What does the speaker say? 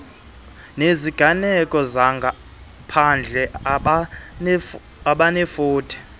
neziganeko zangaphandle abanefuthe